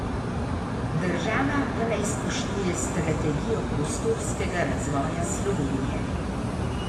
Država pa naj spoštuje Strategijo prostorskega razvoja Slovenije.